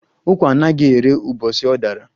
Ukwa anaghi érè ubosi ọ dara